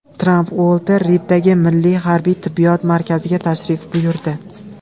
Tramp Uolter Riddagi Milliy harbiy tibbiyot markaziga tashrif buyurdi.